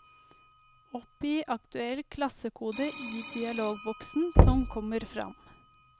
Oppgi aktuell klassekode i dialogboksen som kommer fram.